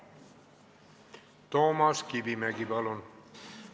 Toomas Kivimägi, palun!